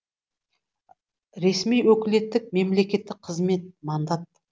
ресми өкілеттік мемлекеттік қызмет мандат